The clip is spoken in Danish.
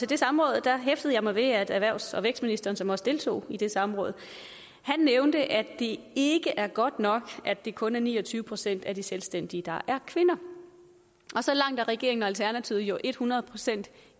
det samråd hæftede jeg mig ved at erhvervs og vækstministeren som også deltog i det samråd nævnte at det ikke er godt nok at det kun er ni og tyve procent af de selvstændige der er kvinder så langt er regeringen og alternativet jo et hundrede procent